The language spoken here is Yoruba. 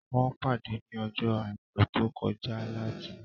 Wọ́n pàdé ní ọjọ́ àìkú tó kọjá láti